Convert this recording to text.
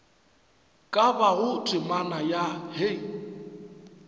ka bago temana ya hei